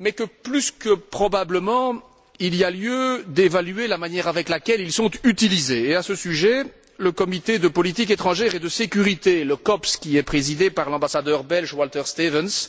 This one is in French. mais que plus que probablement, il y a lieu d'évaluer la manière dont ils sont utilisés, et, à ce sujet, le Comité de politique étrangère et de sécurité, le COPS, qui est présidé par l'ambassadeur belge, Walter Stevens,